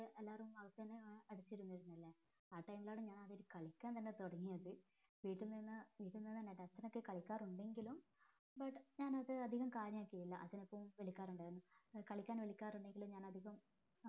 എല്ലാരും അകത്തന്നെ അടച്ച് ഇരുന്നിരുന്നിലെ ആ time ലാണ് ഞാൻ ആദ്യമായിട്ട് കളിക്കാൻ തന്നെ തുടങ്ങിയത് വീട്ടിൽ നിന്ന് വീട്ടിൽ നിന്ന് എൻ്റെ cousine ഒക്കെ കളിക്കാറുണ്ടെങ്കിലും but ഞാൻ അത് അതികം കാര്യമാകില്ല അതെ എപ്പോ വിളിക്കാറുണ്ടായിരുന്നു കളിക്കാൻ വിളിക്കാറുണ്ടെങ്കിലും ഞാൻ അധികം